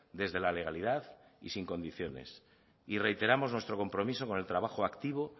desde la legalidad y sin condiciones y reiteramos nuestro compromiso con el trabajo activo